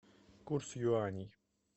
курс юаней